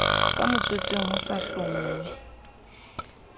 ka motswetseng ho sa hlonngwe